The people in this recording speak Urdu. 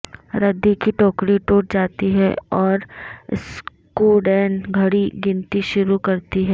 ردی کی ٹوکری ٹوٹ جاتی ہے اور اسکوڈین گھڑی گنتی شروع کرتی ہے